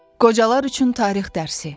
Qocalar üçün tarix dərsi.